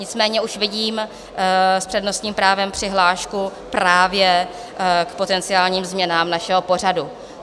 Nicméně už vidím s přednostním právem přihlášku právě k potenciálním změnám našeho pořadu.